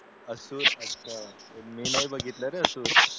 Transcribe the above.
असुर अच्छा मी नाही बघितल रे असुर